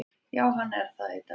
Já hann er það í dag!